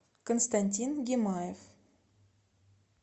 константин гимаев